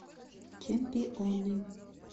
чемпионы